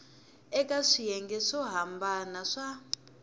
eka swiyenge swo hambana swa